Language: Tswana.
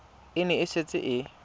e ne e setse e